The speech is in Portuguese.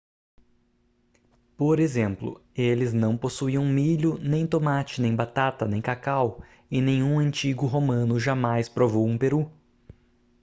por exemplo eles não possuíam milho nem tomate nem batata nem cacau e nenhum antigo romano jamais provou um peru